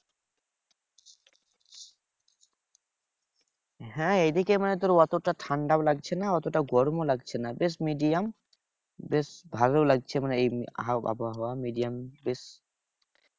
হ্যাঁ এদিকে মানে তোর অতটা ঠান্ডাও লাগছে না অতটা গরমও লাগছে না বেশ medium বেশ ভালো লাগছে মানে এই আবহাওয়া medium বেশ।